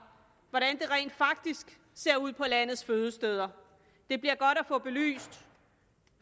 hvordan det rent faktisk ser ud på landets fødesteder det bliver godt at få belyst